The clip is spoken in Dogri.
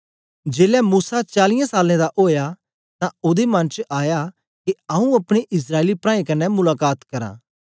जेलै मूसा चालीयें सालें दा ओया तां ओदे मन च आया के आंऊँ अपने इस्राएली प्राऐं कन्ने मुलाकात करां